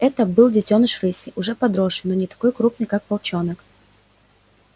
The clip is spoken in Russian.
это был детёныш рыси уже подросший но не такой крупный как волчонок